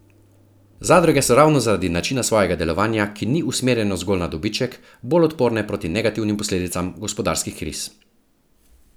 Zadruge so ravno zaradi načina svojega delovanja, ki ni usmerjeno zgolj na dobiček, bolj odporne proti negativnim posledicam gospodarskih kriz.